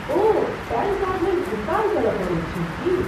ओह, PAN card लेल भुगतान करऽ पड़ैत छै की?